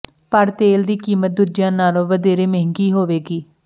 ਪਰ ਤੇਲ ਦੀ ਕੀਮਤ ਦੂਜਿਆਂ ਨਾਲੋਂ ਵਧੇਰੇ ਮਹਿੰਗੀ ਹੋਵੇਗੀ